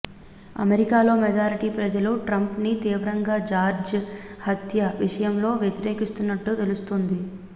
అమెరికాలో మెజారిటీ ప్రజలు ట్రంప్ ని తీవ్రంగా జార్జ్ హత్య విషయంలో వ్యతిరేకిస్తున్నట్టుగా తెలుస్తోంది